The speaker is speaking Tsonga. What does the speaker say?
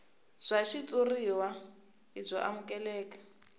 bya xitshuriwa i byo amukeleka